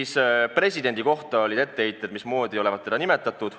Ka presidendi kohta oli etteheiteid, et mismoodi olevat teda nimetatud.